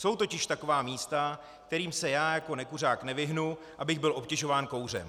Jsou totiž taková místa, kterým se já jako nekuřák nevyhnu, abych byl obtěžován kouřem.